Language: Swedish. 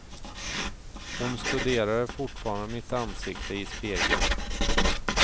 Hon studerade fortfarande mitt ansikte i spegeln.